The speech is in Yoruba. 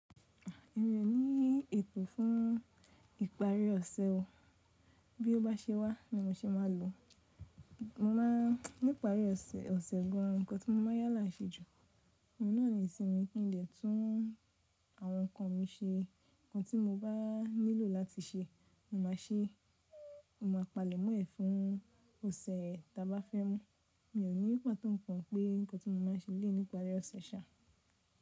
Èmi o ní ètò fún ìparí ọ̀sẹ̀ ọ, bí ó bá se wá ni mo ṣe máa lò. Mo má a nípa rí ọ̀sẹ̀ ọ̀sẹ̀ gan, ǹkankan tí mo máa yálà se jù, èmi náà ni ìsinmi kí n lè tún àwọn ǹkan mi se. Ǹkan tí mo bá nílò láti se, mo máa ṣe. Mo máa palẹ̀ mọ́ ẹ̀ fún ọ̀sẹ̀ tà bá fẹ́ mú. Mi ò ní pàtó ǹkan pé ǹkan tí mo máa ń ṣe lé níparí ọ̀sẹ̀ ṣa.